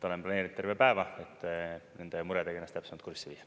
Olen planeeritud terve päeva, et nende muredega ennast täpsemalt kurssi viia.